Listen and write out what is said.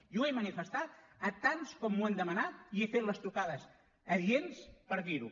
i ho he manifestat a tants com m’ho han demanat i he fet les trucades adients per dir ho